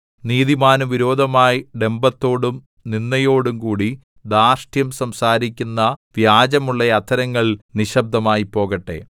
നീതിമാന് വിരോധമായി ഡംഭത്തോടും നിന്ദയോടും കൂടി ധാർഷ്ട്യം സംസാരിക്കുന്ന വ്യാജമുള്ള അധരങ്ങൾ നിശ്ശബ്ദമായി പോകട്ടെ